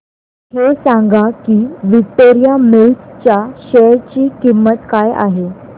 हे सांगा की विक्टोरिया मिल्स च्या शेअर ची किंमत काय आहे